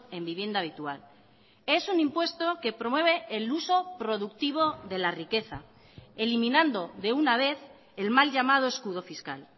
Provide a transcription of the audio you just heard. en vivienda habitual es un impuesto que promueve el uso productivo de la riqueza eliminando de una vez el mal llamado escudo fiscal